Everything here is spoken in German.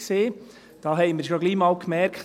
Da haben wir schon bald einmal gemerkt: